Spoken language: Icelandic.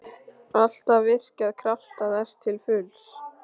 Alltaf virkjað krafta þess til fulls.